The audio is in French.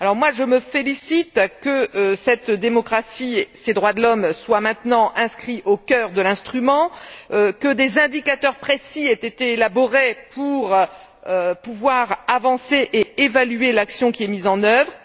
Je me félicite de ce que cette démocratie, ces droits de l'homme soient maintenant inscrits au cœur de l'instrument, de ce que des indicateurs précis aient été élaborés pour pouvoir avancer et évaluer l'action qui est mise en œuvre.